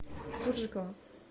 суржикова